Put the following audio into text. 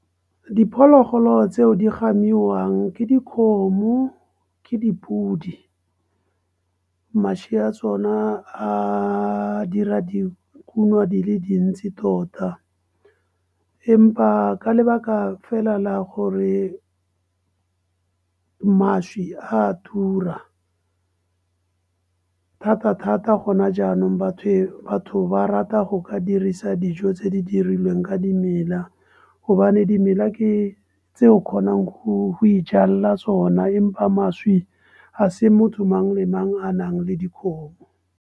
Diphologolo tseo di gamiwang ke dikgomo, ke dipodi, mašwi ya tsona a dira dikuno di le dintsi tota. Empa ka lebaka fela la gore mašwi a tura, thata-thata gona jaanong batho ba rata go ka dirisa dijo tse di dirilweng ka dimela gobane dimela ke tse o kgonang go e jalela tsona empa mašwi a se motho mang le mang a nang le dikgomo.